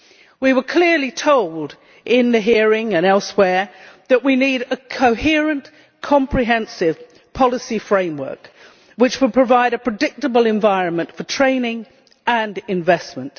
We were clearly told in the hearing and elsewhere that we need a coherent comprehensive policy framework which will provide a predictable environment for training and investment.